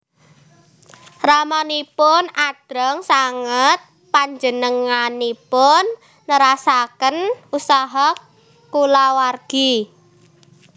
Ramanipun adreng sanget panjenenganipun nerasaken usaha kulawargi